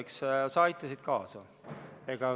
Eks sa aitasid kaasa.